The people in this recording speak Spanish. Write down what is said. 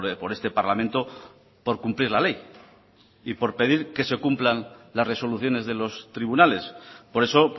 por este parlamento por cumplir la ley y por pedir que se cumplan las resoluciones de los tribunales por eso